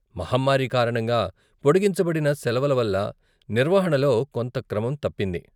మహమ్మారి కారణంగా పొడిగించబడిన సెలవల వల్ల నిర్వహణలో కొంత క్రమం తప్పింది.